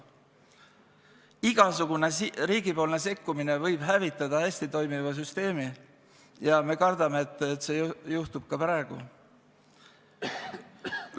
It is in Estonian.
Igasugune riigi sekkumine võib hävitada hästi toimiva süsteemi ja me kardame, et see juhtub ka praegu.